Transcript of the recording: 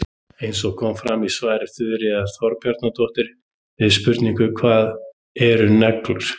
Eins og fram kemur í svari Þuríðar Þorbjarnardóttur við spurningunni Hvað eru neglur?